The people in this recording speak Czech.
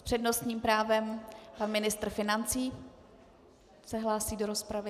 S přednostním právem pan ministr financí se hlásí do rozpravy.